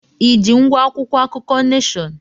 I ji ngwá akwụkwọ akụkọ Neshọn?